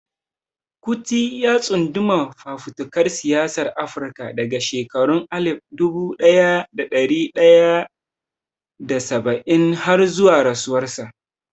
Kuti ya tsunduma fafutukar siyasar Afirka daga shekarun alif dubu daya da dari tara da saba'in har zuwa rasuwarsa.